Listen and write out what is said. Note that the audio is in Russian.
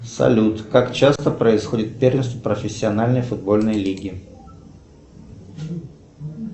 салют как часто происходит первенство профессиональной футбольной лиги